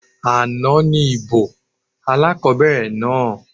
Àná ní ìbò alákobẹ̀rẹ̀ náà